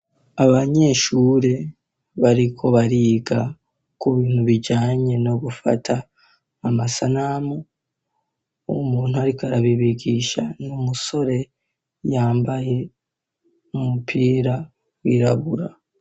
Abanyeshuri bariko bariga ku bintu bijanye no gufata amasanamu, umuntu ariko arabibigisha ni umusore yambaye umupira wirabura.